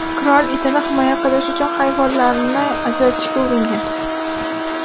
Qirol itini himoya qilish uchun hayvonlarni ajratishga uringan.